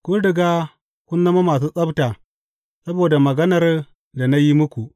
Kun riga kun zama masu tsabta saboda maganar da na yi muku.